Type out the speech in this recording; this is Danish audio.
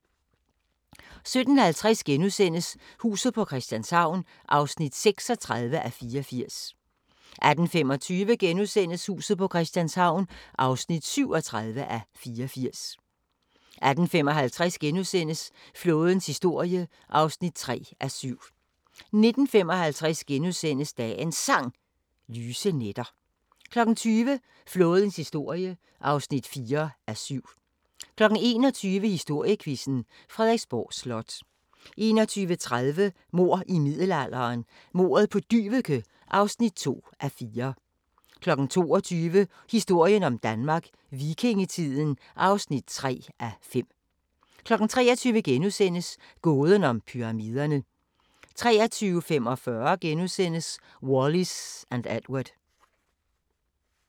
17:50: Huset på Christianshavn (36:84)* 18:25: Huset på Christianshavn (37:84)* 18:55: Flådens historie (3:7)* 19:55: Dagens Sang: Lyse nætter * 20:00: Flådens historie (4:7) 21:00: Historiequizzen: Frederiksborg Slot 21:30: Mord i middelalderen – Mordet på Dyveke (2:4) 22:00: Historien om Danmark: Vikingetiden (3:5) 23:00: Gåden om Pyramiderne * 23:45: Wallis & Edward *